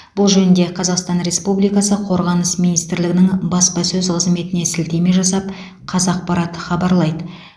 бұл жөнінде қазақстан республикасы қорғаныс министрлігінің баспасөз қызметіне сілтеме жасап қазақпарат хабарлайды